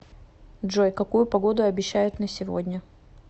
джой какую погоду обещают на сегодня